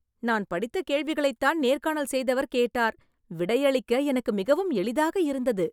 நா படித்த கேள்விகளைத் தான் நேர்காணல் செய்தவர் கேட்டார் விடை அளிக்க எனக்கு மிகவும் எளிதாக இருந்தது